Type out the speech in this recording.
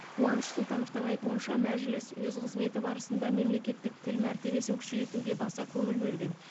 қуаныш сұлтановтың айтуынша мәжіліс өз қызметі барысында мемлекеттік тіл мәртебесін күшейтуге баса көңіл бөлген